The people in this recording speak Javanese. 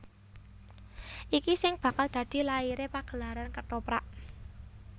Iki sing bakal dadi laire pagelaran Kethoprak